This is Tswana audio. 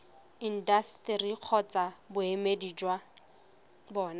intaseteri kgotsa boemedi jwa bona